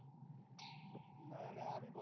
না না আমি বড়ো